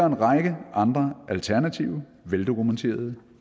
en række andre alternative veldokumenterede